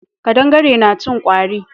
Kaɗangare na cin kwari.